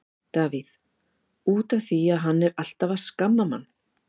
Davíð: Út af því að hann er alltaf að skamma mann.